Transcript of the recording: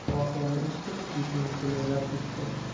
Voqeani eshitib, etim jimirlab ketdi.